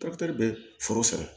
bɛ foro san